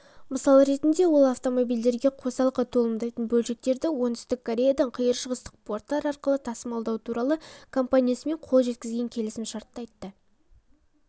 мысалы ретінде ол автомобильдерге қосалқы толымдайтын бөлшектерді оңтүстік кореядан қиыршығыстық порттар арқылы тасымалдау туралы компаниясымен қол жеткізген келісімшартты айтты